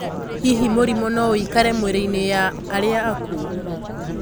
Hihi, mũrimũ noũikare mwirĩinĩ ya arĩa akuũ?